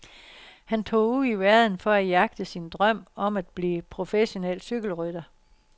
Han tog ud i verden for at jagte sin drøm om at blive professionel cykelrytter.